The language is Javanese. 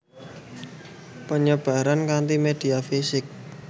Penyebaran kanti media fisik